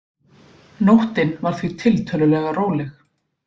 Nóttin var því tiltölulega róleg